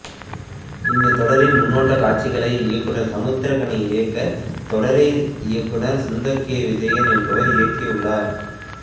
இந்த தொடரின் முன்னோட்ட காட்சிகளை இயக்குனர் சமுத்திரக்கனி இயக்க தொடரை இயக்குனர் சுந்தர் கே விஜயன் என்பவர் இயக்கியுள்ளார்